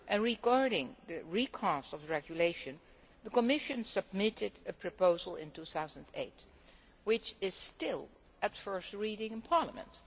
Regarding the recast of the regulation, the Commission submitted a proposal in 2008 which is still at first reading in Parliament.